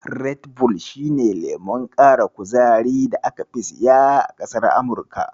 Red bull shi ne lemon ƙara kuzarin da aka fi siya a ƙasar Amurika.